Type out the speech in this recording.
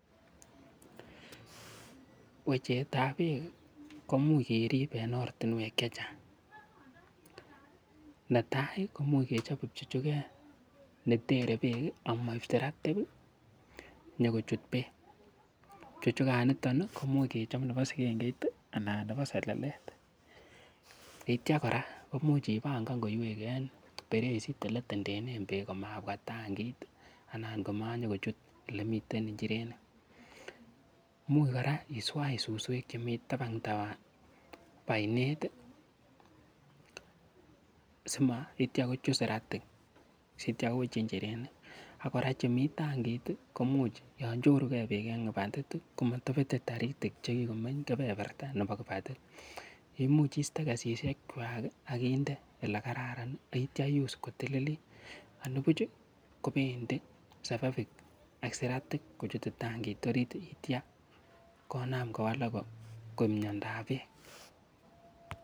Wecehet ab beek komuch kerib en ortinwek che chang: netai komuch kechop kipchuchuget netere beek amoib siratik nyokochut beek. Pchuchuganito komuch kechob nebo sigengeit anan nebo selelet, kityo kora koimuch ibangan koiywek en pereisit ole itendenen beek komabwa tangit anan komanyokochut ole miten injirenik. Imuch kora iswach suswek chemi tabandab oinet simakityo kochut siratik sitya kowch injirenik. Ak kora chemi tangit komuch yon choruge beek en kibatit komotobete taritik che kigomeny kebeberta nebo kibatit imuch iste kesishek kwak ak inde ele kararan ak kityo ius kotililit anibuch kobendi selelik ak siratik kochut tangit orit ak kitya konam kowalak koik miondab beek.